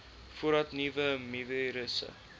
voordat nuwe mivirusse